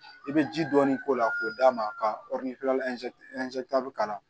I bɛ ji dɔɔni k'o la k'o d'a ma ka k'a la